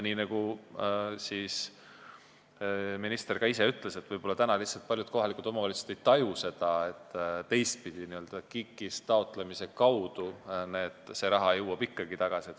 Minister ütles ka ise, et võib-olla lihtsalt paljud kohalikud omavalitsused ei taju, et teistpidi jõuab see raha KIK-ist taotlemise kaudu ikkagi tagasi.